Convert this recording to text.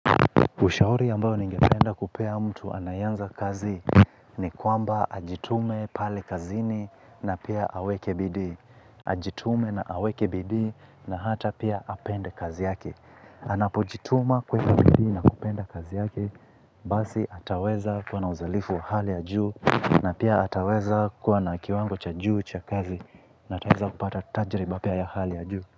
Ushauri ambao ninge penda kupea mtu anayeanza kazi, ni kwamba ajitume pale kazini na pia aweke bidii. Ajitume na aweke bidii na hata pia apende kazi yake. Anapojituma kuweka bidii na kupenda kazi yake basi ataweza kuwa na uzalifu wa hali ya juu na pia ataweza kuwa na kiwango cha juu cha kazi na ataweza kupata tajiriba pia ya hali ya juu.